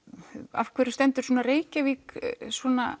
af hverju stendur Reykjavík svona